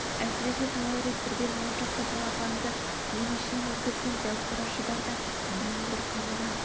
әсіресе талай рет бірден он шақты балапанды өңешінен өткізген дәу қара шұбарда дегбір қалмаған